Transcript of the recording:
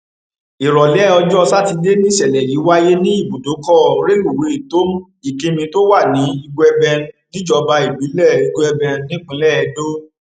ìrọlẹ ọjọ sátidé nìṣẹlẹ yìí wáyé ní ibùdókọ rélùwéè tom ikimí tó wà ní igueben níjọba ìbílẹ igueben nípìnlẹ edo